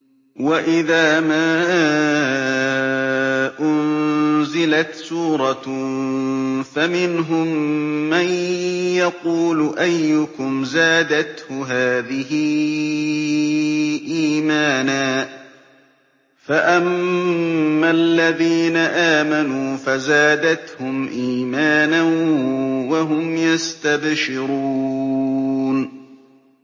وَإِذَا مَا أُنزِلَتْ سُورَةٌ فَمِنْهُم مَّن يَقُولُ أَيُّكُمْ زَادَتْهُ هَٰذِهِ إِيمَانًا ۚ فَأَمَّا الَّذِينَ آمَنُوا فَزَادَتْهُمْ إِيمَانًا وَهُمْ يَسْتَبْشِرُونَ